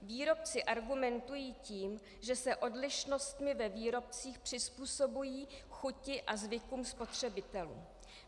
Výrobci argumentují tím, že se odlišnostmi ve výrobcích přizpůsobují chuti a zvykům spotřebitelů.